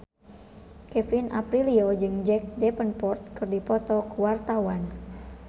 Kevin Aprilio jeung Jack Davenport keur dipoto ku wartawan